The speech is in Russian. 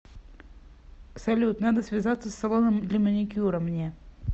салют надо связаться с салоном для маникюра мне